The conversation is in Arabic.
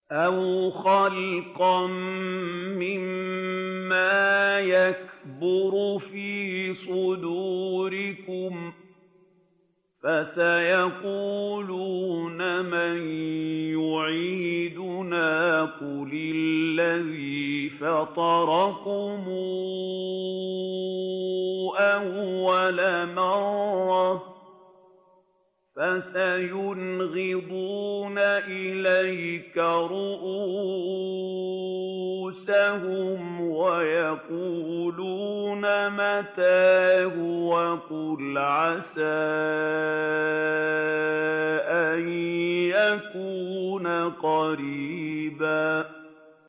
أَوْ خَلْقًا مِّمَّا يَكْبُرُ فِي صُدُورِكُمْ ۚ فَسَيَقُولُونَ مَن يُعِيدُنَا ۖ قُلِ الَّذِي فَطَرَكُمْ أَوَّلَ مَرَّةٍ ۚ فَسَيُنْغِضُونَ إِلَيْكَ رُءُوسَهُمْ وَيَقُولُونَ مَتَىٰ هُوَ ۖ قُلْ عَسَىٰ أَن يَكُونَ قَرِيبًا